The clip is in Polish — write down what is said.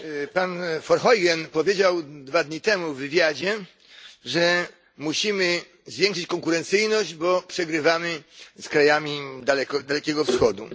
Pan Verheugen powiedział dwa dni temu w wywiadzie, że musimy zwiększyć konkurencyjność, bo przegrywamy z krajami Dalekiego Wschodu.